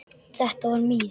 Þetta var mín.